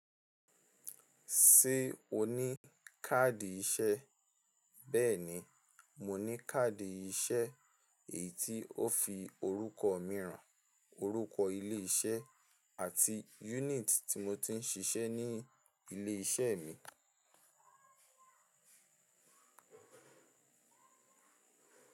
Ṣé o ní káàdì iṣẹ́? Bẹ́ẹ̀ni, mo ní káàdì iṣẹ́ èyí tí ó fi orúkọ mìíràn, orúkọ ilé iṣẹ́ àti unit tí mo ti ń ṣiṣẹ́ ní ilé iṣẹ́ mi.